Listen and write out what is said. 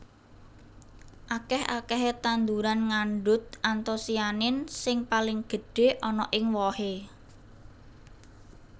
Akèh akèhé tanduran ngandhut antosianin sing paling gedhé ana ing wohé